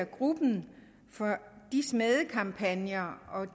gruppen for smædekampagner og